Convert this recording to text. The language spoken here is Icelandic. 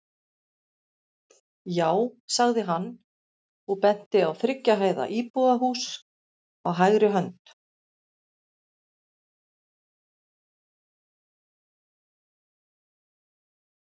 Já, sagði hann og benti á þriggja hæða íbúðarhús á hægri hönd.